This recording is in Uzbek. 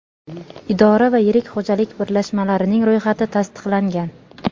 idora va yirik xo‘jalik birlashmalarining ro‘yxati tasdiqlangan.